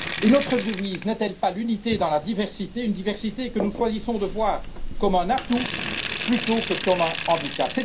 Notre devise n'est t elle pas l'Unité dans la diversité, une diversité que nous choisissons de voir comme un atout, plutôt que comme un handicap?